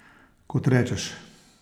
Kot rečeš.